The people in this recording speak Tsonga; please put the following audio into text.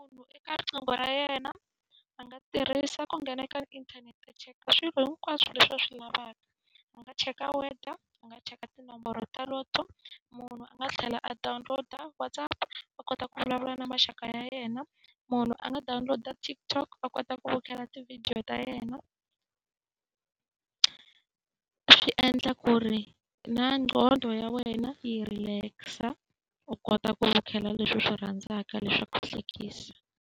eka riqingho ra yena a nga tirhisa ku nghena ka inthanete a cheka swilo hinkwaswo leswi a swi lavaka. A nga cheka weather, a nga cheka tinomboro ta Lotto, munhu a nga tlhela a download-a WhatsApp a kota ku vulavula na maxaka ya yena, munhu a nga download-a TikTok a kota ku vukhela tivhidiyo ta yena. Swi endla ku ri na ngqondo ya wena yi relax-a, u kota ku vukela leswi u swi rhandzaka leswi swa ku hlekisa.